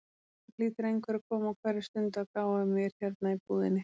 Það hlýtur einhver að koma á hverri stundu að gá að mér hérna í búðinni.